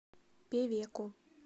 певеку